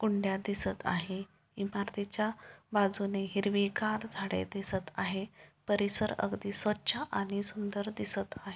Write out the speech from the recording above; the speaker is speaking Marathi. कुंड्या दिसत आहे इमारतीच्या बाजूनी हिरवीगार झाडे दिसत आहे परिसर अगदी स्वच्छ आणि सुंदर दिसत आहे.